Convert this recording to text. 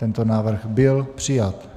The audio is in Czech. Tento návrh byl přijat.